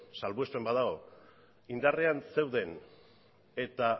salbuespen bat dago indarrean zeuden eta